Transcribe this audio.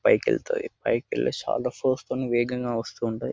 పైకెళ్తాయి. పైకెళ్ళి చాలా ఫోర్స్ తోటి వేగంగా వస్తూ ఉంటాయి.